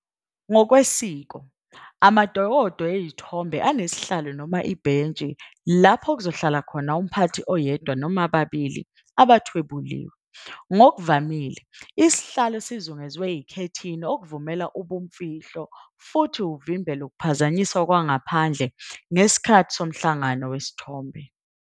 Ngokwesiko, amadokodo ezithombe anesihlalo noma ibhentshi, lapho kuzohlala khona umphathi oyedwa noma ababili abathwebuliwe. Ngokuvamile isihlalo sizungezwe ikhethini ukuvumela ubumfihlo futhi uvimbele ukuphazanyiswa kwangaphandle ngesikhathi somhlangano wesithombe.